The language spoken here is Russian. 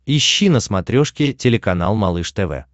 ищи на смотрешке телеканал малыш тв